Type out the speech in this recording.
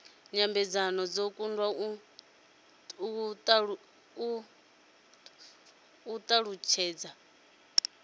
nyambedzano dzo kundwa u thasulula